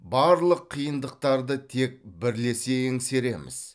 барлық қиындықтарды тек бірлесе еңсереміз